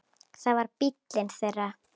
Það var bíllinn þeirra.